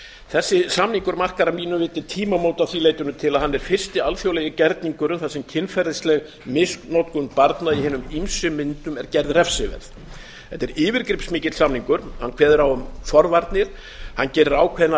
þessi samningur markar að mínu viti tímamót að því leytinu til að hann er fyrsti alþjóðlegi gerningur um það sem kynferðisleg misnotkun barna í hinum ýmsu myndum er gerð refsiverð þetta er yfirgripsmikill samningur hann kveður á um forvarnir hann gerir ákveðna